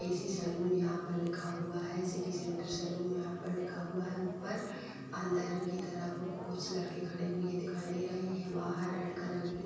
AC salon यहां पर लिखा हुआ है। सिटी सेंटर सैलून यहां पर लिखा हुआ है ऊपर। अंदर की तरफ कुछ लड़के खड़े हुए दिखाई दे रहे हैं। बाहर रेड कलर की --